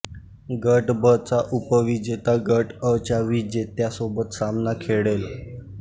गट ब चा उप विजेता गट अ च्या विजेत्या सोबत सामना खेळेल